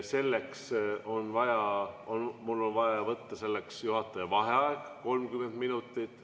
Selleks on mul vaja võtta juhataja vaheaeg 30 minutit.